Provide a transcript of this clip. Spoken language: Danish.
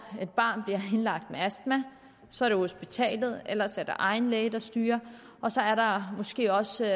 et barn bliver indlagt med astma så er det hospitalet eller egen læge der styrer og så er der måske også